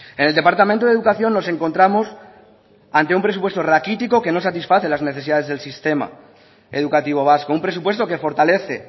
en el departamento de educación nos encontramos ante un presupuesto raquítico que no satisface las necesidades del sistema educativo vasco un presupuesto que fortalece